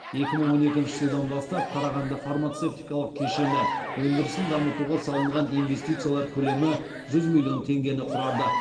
екі мың он екінші жылдан бастап қарағанды фармацевтикалық кешені өндірісін дамытуға салынған инвестициялар көлемі жүз миллион теңгені құрады